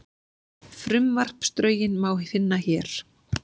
Frumvarpsdrögin má finna hér